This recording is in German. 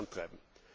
vorantreiben.